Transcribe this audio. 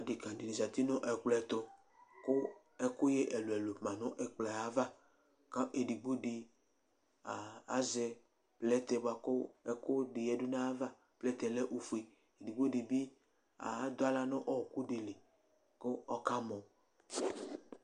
odeka di ni zati nu ɛkplɔɛ tu , ku ɛkuyɛ ɛlu ɛlu ma nu ɛkplɔɛ ava, ka edigbo di a azɛ plɛtɛ bʋa ku ukudi yadu nu ayava, plɛtɛ yɛ lɛ ofue, edigbo di bi adu aɣla nu ɔku di li ku ɔka mɔ